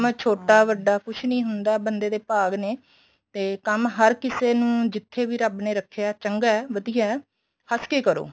ਛੋਟਾ ਵੱਡਾ ਕੁੱਝ ਨੀਂ ਹੁੰਦਾ ਬੰਦੇ ਦੇ ਭਾਗ ਨੇ ਤੇ ਕੰਮ ਹਰ ਕਿਸੇ ਨੂੰ ਜਿੱਥੇ ਵੀ ਰੱਬ ਨੇ ਰੱਖਿਆ ਚੰਗਾ ਵਧੀਆ ਹੱਸ ਕੇ ਕਰੋ